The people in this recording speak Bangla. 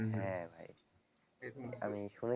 হ্যাঁ ভাই আমি শুনেছি